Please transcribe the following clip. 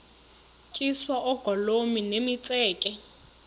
tyiswa oogolomi nemitseke